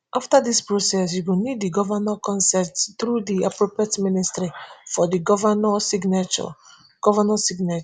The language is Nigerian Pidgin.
afta dis process you go need digovnor consentthrough di appropriate ministry for di govnor signature govnor signature